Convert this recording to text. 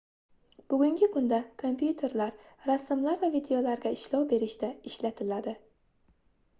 bugungi kunda kompyuterlar rasmlar va videolarga ishlov berishda ishlatiladi